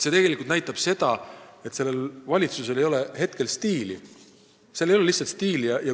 See tegelikult näitab seda, et sellel valitsusel ei ole lihtsalt stiili.